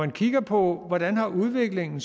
kigger på hvordan udviklingen